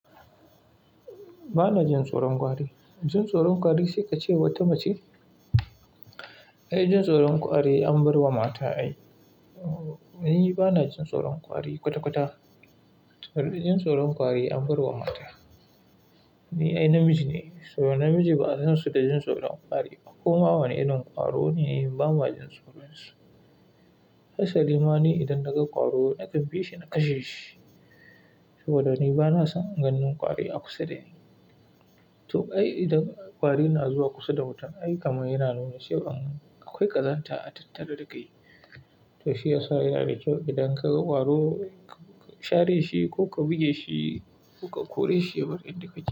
Ba na jin tsoron ƙwari. Jin tsoron ƙwari sai ka ce wata mace? Ai jin tsoron ƙwari an bar wa mata ai. Ni ba na jin tsoron ƙwari kwata-kwata. Jin tsoron ƙwari an bar wa mata. Ni ai namiji ne saboda namiji ba a san su da jin tsoron ƙwari. Kuma wane irin ƙwaro ne nake yi, ba ma jin tsoron su. Hasa limani idan daga ƙwaro nakan bi shi na kashe shi. Saboda ni ba na son ganin ƙwari a kusa da ni. To ai idan ƙwari na zuwa kusa da wuta, ai kamar yana nuna sai an akwai ƙazanta a tattare da kai. To shi ya sa yaɗa cewa idan ka ga ƙwaro ka share shi ko ka buge shi ko ka kore shi, ya barke ni ka ci.